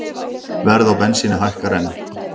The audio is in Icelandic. Verð á bensíni hækkar enn